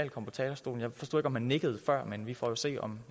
komme på talerstolen jeg forstod ikke om han nikkede før men vi får jo se om